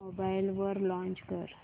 mobile वर launch कर